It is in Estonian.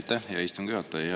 Aitäh, hea istungi juhataja!